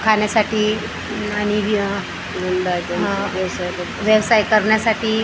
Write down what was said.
खाण्यासाठी अम आणि वीअ अ व्यवसाय करण्यासाठी --